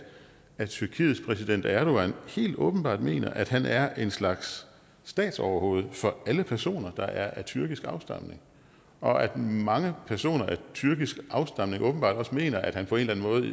at tyrkiets præsident erdogan helt åbenbart mener at han er en slags statsoverhoved for alle personer der er af tyrkisk afstamning og at mange personer af tyrkisk afstamning åbenbart også mener at han på en